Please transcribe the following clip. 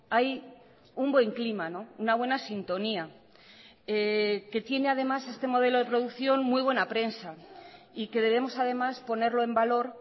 hay un buen clima una buena sintonía que tiene además este modelo de producción muy buena prensa y que debemos además ponerlo en valor